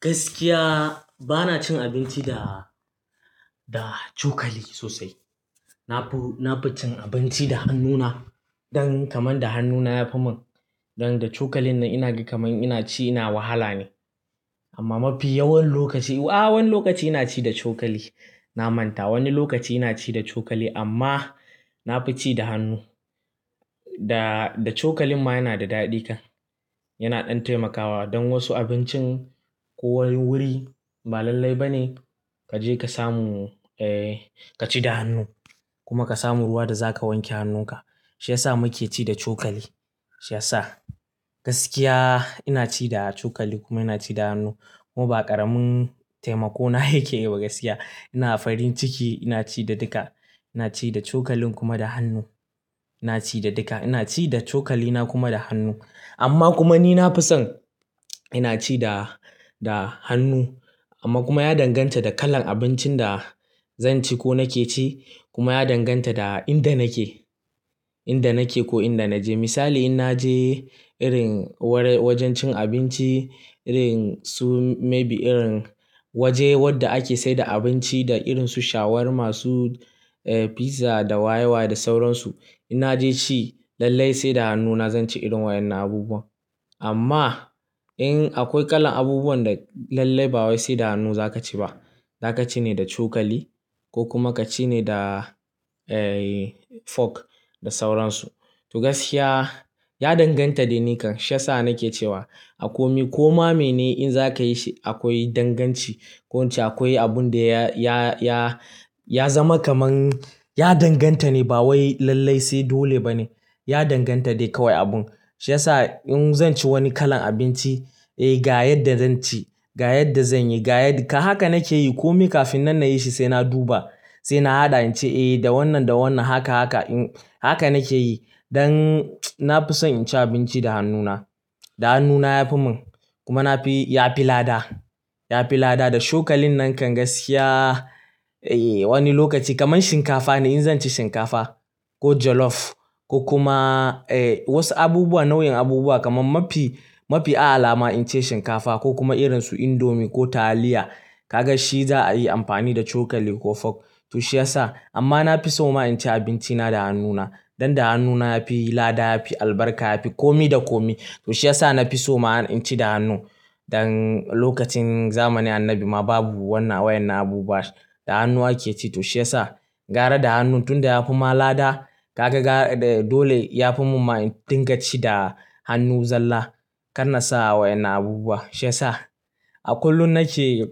Gaskiya bana cin abinci da, da cokali sosai. Na fi, na fi cin abinci da hannuna. Don kamar da hannuna yafi mun. Don da cokalin nan ina ga kamar ina ci, ina wahala ne. Amma mafi yawan lokaci, a'a wani lokaci ina ci da cokali. Na manta wani lokaci ina ci da cokali amma na fi ci da hannu. Da, da cokalin ma yana da daɗi kan. Yana ɗan taimakawa don wasu abincin ko wani wuri ba lallai ba ne kaje ka samu, eh ka ci da hannu. Kuma ka samu ruwa da zaka wanke hannunka. Shi ya sa muke ci da cokali. Shi ya sa. Gaskiya ina ci da cokali kuma ina ci da hannu. Kuma ba ƙaramin taimako na yake yi ba gaskiya. Ina farin ciki ina ci da duka. Ina ci da cokalin kuma da hannu. Ina ci da duka. Ina ci da cokali na kuma da hannu. Amma kuma ni na fi son ina ci da, da hannu. Amma kuma ya danganta da kalan abincin da zan ci ko nake ci kuma ya danganta da inda nake. Inda nake ko inda naje. Misali in naje irin wajen cin abinci, irin su maybe irin waje wadda ake saida abinci da irin su shawarma, su pizza da wayewa da sauran su. In naje ci lallai sai da hannuna zan ci irin wayen abubuwan. Amma in akwai kalan abubuwan da lallai ba wai sai da hannu zaka ci ba, zaka ci ne da cokali ko kuma ka ci ne da, eh fork da sauran su. To gaskiya ya danganta dai ni kan. Shi ya sa nake cewa a komi ko ma mene in zaka yi shi akwai danganci. Ko ince akwai abun da ya, ya, ya, ya zama kaman ya danganta ne ba wai lallai sai dole ba ne. Ya danganta dai kawai abun. Shi ya sa in zan ci wani kalan abinci, eh ga yadda zan ci, ga yadda zan yi, ga yadda. Haka nake yi komi kafin nan na yi shi sai na duba, sai na haɗa in ce eh da wannan da wannan haka haka in haka nake yi. Don na fi son inci abinci da hannuna. Da hannuna yafi mun. Kuma na fi ya fi lada. Ya fi lada. Da cokalin nan kan gaskiya, eh wani lokaci kaman shinkafa ne in zan ci shinkafa ko jollof ko kuma eh wasu abubuwa nau'in abubuwa kaman mafi, mafi a'a alama in ci shinkafa ko kuma irin su indomie ko taliya. Ka ga shi za'a yi amfani da cokali ko fork. To shi ya sa. Amma na fi so ma in ci abinci na da hannuna. Don da hannuna yafi lada, yafi albarka, yafi komi da komi. To shi ya sa na fi so ma in ci da hannu. Don lokacin zamanin annabi ma babu wannan wayanan abubuwan. Da hannu ake ci to shi ya sa. Gara da hannun tun da ya fi ma lada. Ka ga ga dole yafi mun ma in dinga ci da hannu zalla. Kar na sa wayanan abubuwa. Shi ya sa. A kullum nake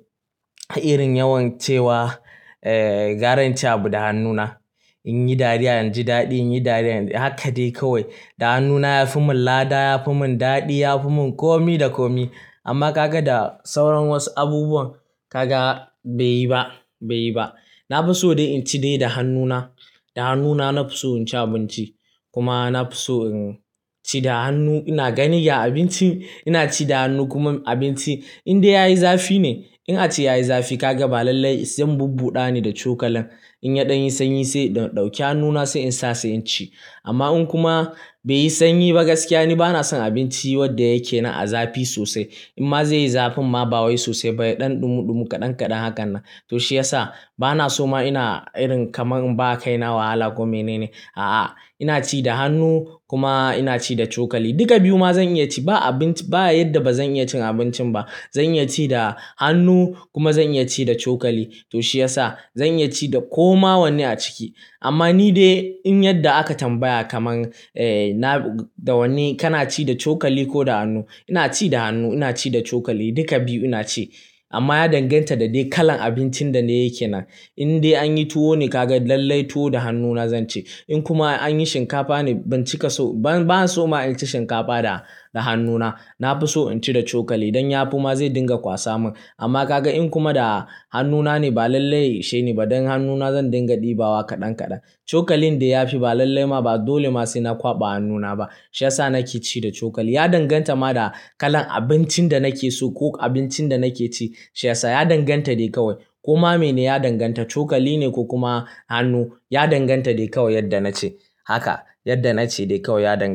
irin yawan cewa, eh gara in ci da hannuna. In yi dariya inji daɗi, in yi dariya inji haka dai kawai. Da hannuna yafi mun lada, yafi mun daɗi, yafi mun komi da komi. Amma ka ga da sauran wasu abubuwan ka ga bai yi ba, bai yi ba. Na fi so dai in ci dai da hannuna. Da hannuna na fi so in ci abinci. Kuma na fi so in ci da hannu. Ina gani ga abinci ina ci da hannu kuma abinci in dai ya yi zafi ne. In a ce ya yi zafi ka ga ba lallai zan bubbuɗa ne da cokalan. In ya ɗan yi sanyi sai in ɗauki hannuna sai in sa sai in ci. Amma in kuma bai yi sanyi ba gaskiya ni bana son abinci wadda yake na a zafi sosai. In ma zai yi zafi ma ba wai sosai bai ɗan ɗumu ɗumu kaɗan kaɗan hakan nan. To shi ya sa bana so ma ina irin kaman ba a kai na wahala ko mene ne. A'a, ina ci da hannu kuma ina ci da cokali. Duka biyu ma zan iya ci. Ba abinci ba a yadda ba zan iya cin abincin ba. Zan iya ci da hannu kuma zan iya ci da cokali. To shi ya sa. Zan iya ci da ko ma wanne a ciki. Amma ni dai in yadda aka tambaya kaman, eh na da wanne kana ci da cokali ko da hannu. Ina ci da hannu, ina ci da cokali duka biyu ina ci. Amma ya danganta da dai kalan abincin da na yake nan. In dai anyi tuwo ne ka ga lallai tuwo da hannuna zan ci. In kuma anyi shinkafa ne ban cika so, ban, ban so ma in ci shinkafa da, da hannuna. Na fi so in ci da cokali don yafi ma zai dinga kwasa mun. Amma ka ga in kuma da hannuna ne ba lallai shine ba don hannuna zan dinga ɗibawa kaɗan kaɗan. Cokalin dai yafi ba lallai ma ba dole ma sai na kwaɓa hannuna ba. Shi ya sa nake ci da cokali. Ya danganta ma da kalan abincin da nake so ko abincin da nake ci. Shi ya sa ya danganta dai kawai. Ko ma mene ya danganta. Cokali ne ko kuma hannu ya danganta dai kawai yadda na ce. Haka, yadda na ce dai kawai ya danganta.